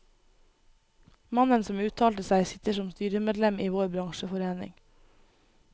Mannen som uttalte seg, sitter som styremedlem i vår bransjeforening.